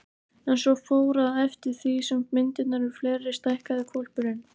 En svo fór, að eftir því sem myndirnar urðu fleiri stækkaði hvolpurinn.